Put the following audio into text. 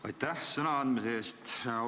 Aitäh sõnaandmise eest!